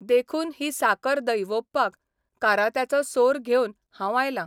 देखून ही साकर दैवोवपाक कारात्याचो सोर घेवन हांव आयलां.